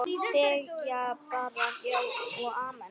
Segja bara já og amen.